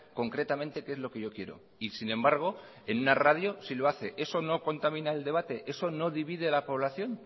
concretamente qué es lo que yo quiero y sin embargo en una radio sí lo hace eso no contamina el debate eso no divide a la población